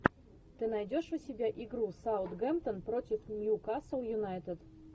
ты найдешь у себя игру саутгемптон против ньюкасл юнайтед